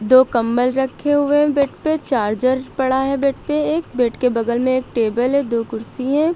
दो कंबल रखे हुए बेड पे चार्जर पड़ा है बेड पे एक बेड के बगल में एक टेबल है दो कुर्सी है।